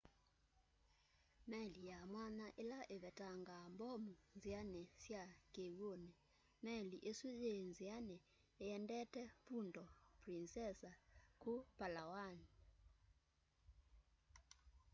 meli ya mwanya ila ivetangaa mbomu nziani sya kiw'uni meli isu yii nziani iendete puerto princesa ku palawan